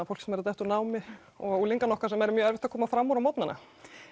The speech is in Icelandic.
fólk sem er að detta úr námi og unglingana okkar sem er mjög erfitt að koma fram úr á morgnanna